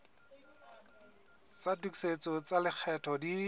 tsa tokisetso tsa lekgetho di